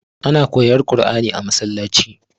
ana koyar Qurani a makabarta